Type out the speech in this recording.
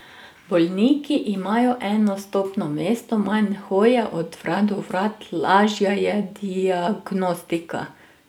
Bolniki imajo eno vstopno mesto, manj hoje od vrat do vrat, lažja je diagnostika.